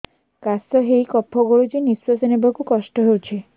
କାଶ ହେଇ କଫ ଗଳୁଛି ନିଶ୍ୱାସ ନେବାକୁ କଷ୍ଟ ହଉଛି